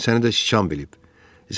Yəqin səni də siçan bilib.